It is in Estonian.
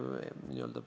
Lugupeetud peaminister!